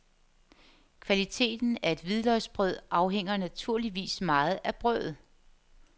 Kvaliteten af et hvidløgsbrød afhænger naturligvis meget af brødet.